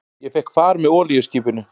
Ég fékk far með olíuskipinu